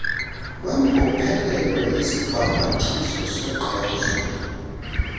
kwembophelelo yesibhambathiso sokuqeshwa